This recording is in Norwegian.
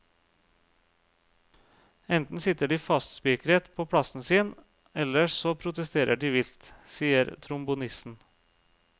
Enten sitter de fastspikret på plassen sin, ellers så protesterer de vilt, sier trombonisten.